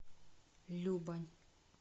любань